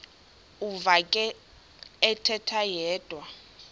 uvakele ethetha yedwa